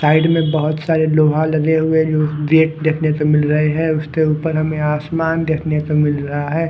Side में बहोत सारे लोहा लगे हुए है गेट देखने को मिल रहे है उसके ऊपर हमें आसमान देखने को मिल रहा है।